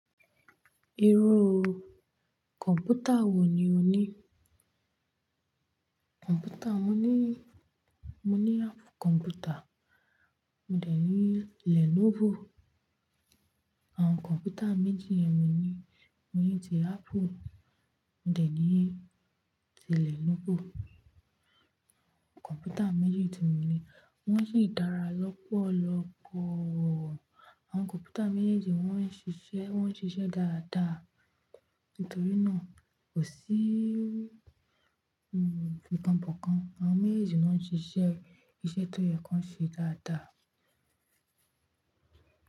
Irú kọ̀npútà wò ní ò ní? Kọ̀npútà, mo ní, mo ní Apple kọ̀npútà, mo dẹ̀ ní Lenovo. Àwọn kọ̀npútà méjì yẹn mo ní. Mo ni tí Apple, mo dẹ̀ ní tí Lenovo. Kọ̀npútà méjì tí mo ní wọ́n sì dára lọ́pọ̀lọ́pọ̀. Àwọn kọ̀npútà méjèèjì wọ́n n ṣiṣẹ́, wọ́n n ṣiṣẹ́ dáadáa. Nítorí náà kò sí, hm, fìtànpìkan. Àwọn méjèèjì náà n ṣiṣẹ́ iṣẹ́ tó yẹ kí wọ́n ṣe dáadáa.